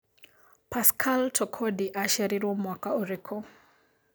Pascal Tokodi acĩarĩrwo mwaka ũrikũ